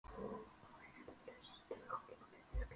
Og enn lustu Hólamenn upp sigurópi.